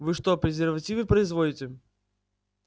вы что презервативы производите